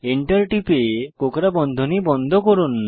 enter টিপে কোঁকড়া বন্ধনী বন্ধ করুন